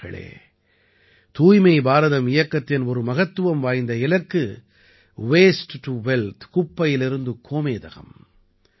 நண்பர்களே தூய்மை பாரதம் இயக்கத்தின் ஒரு மகத்துவம் வாய்ந்த இலக்கு வாஸ்டே டோ வெல்த் குப்பையிலிருந்து கோமேதகம்